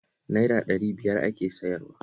Naira ɗari biyar ake sayarwa